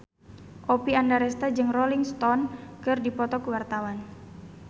Oppie Andaresta jeung Rolling Stone keur dipoto ku wartawan